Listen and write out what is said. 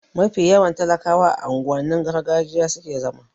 Mafi yawan talakawa a unguwannin gargajiya suke zama